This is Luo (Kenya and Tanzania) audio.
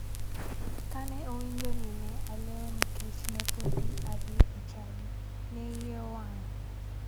Kane owinjo ni ne alewo nikech ne podi adhi e chadi, ne iye owang'.